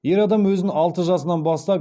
ер адам өзін алты жасынан бастап